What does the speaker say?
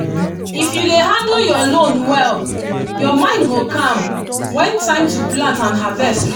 if you dey handle your loan well your mind go calm when time to plant and harvest reach